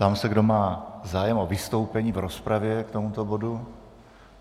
Ptám se, kdo má zájem o vystoupení v rozpravě k tomuto bodu.